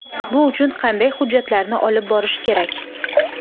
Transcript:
Bu uchun qanday hujjatlarni olib borish kerak?.